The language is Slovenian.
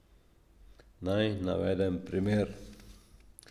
Naj navedem primer.